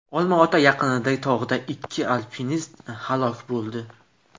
Olma-ota yaqinidagi tog‘da ikki alpinist halok bo‘ldi.